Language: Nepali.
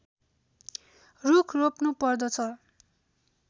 रूख रोप्नु पर्दछ